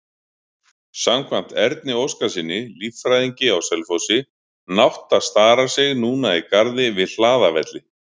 Samkvæmt Erni Óskarssyni, líffræðingi á Selfossi, nátta starar sig núna í garði við Hlaðavelli.